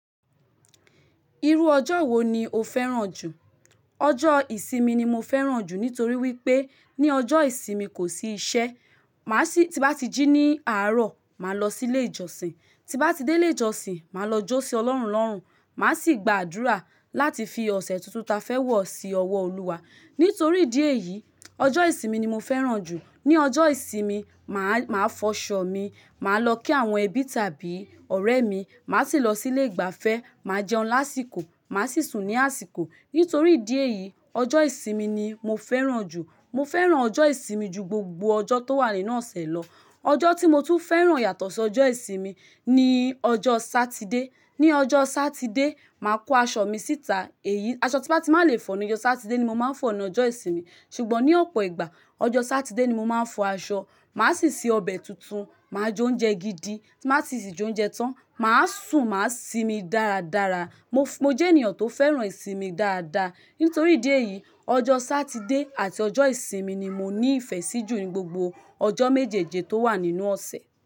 Irú ọjọ́ wo ni o fẹ́ràn jù? Ọjọ́ ìsinmi ni mo fẹ́ràn jù nítorí wípé ní ọjọ́ ìsinmi kò sí iṣẹ́. Má sì tí bá ti jí ní àárọ̀, má lọ sí ilé ìjọsìn. Tí bá ti dé lé jọsìn, má lọ jó sí Ọlọ́run lọ́rùn. Má sì gba àdúrà láti fi ọ̀sẹ̀ tuntun ta fẹ́ wọ̀ sí ọwọ́ Olúwa. Nítorí ìdí èyí, ọjọ́ ìsinmi ni mo fẹ́ràn jù. Ni ọjọ́ ìsinmi, máa, máa fọṣọ mi, má lọ kí àwọn ẹbí tàbí ọ̀rẹ́ mi. Má sì lọ sí lé ìgbafẹ́, má jẹun lásìkò, má sì sùn ní àsìkò. Nítorí ìdí èyí, ọjọ́ ìsinmi ni mo fẹ́ràn jù. Mo fẹ́ràn ọjọ́ ìsinmi ju gbogbo ọjọ́ tó wà nínú ọ̀sẹ̀ lọ. Ọjọ́ tí mo tún fẹ́ràn yàtọ̀ so jọ́ ìsinmi níí ọjọ́ Sátidé. Ni ọjọ́ Sátidé, má kó aṣọ mi síta. Èyí aṣọ tí bá ti má lè fọ̀ ní jọ́ Sátidé ni mo má ń fọ̀ ní ọjọ́ ìsinmi. Ṣùgbọ́n ní ọ̀pọ̀ ìgbà, ọjọ́ Sátidé ni mo máa ń fọ aṣọ. Má sì se ọbẹ̀ tuntun, má jóúnjẹ gidi. Ti má tì sí jóúnjẹ tán, máa sùn, máa sìmi dáradára. Mo f- mo jẹ́ ènìyàn tó fẹ́ràn ìsinmi dáadáa. Nítorí ìdí èyí, ọjọ́ Sátidé àti ọjọ́ ìsinmi ni mo ní ìfẹ́ sí jù ní gbogbo ọjọ́ méjeéje tó wà nínú ọ̀sẹ̀.